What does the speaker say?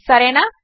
సరేనా